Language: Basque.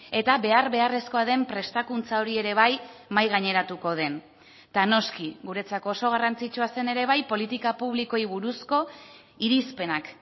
eta behar beharrezkoa den prestakuntza hori ere bai mahai gaineratuko den eta noski guretzako oso garrantzitsua zen ere bai politika publikoei buruzko irizpenak